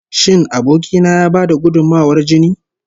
Shin aboki na ya ba da gudunmawar jini?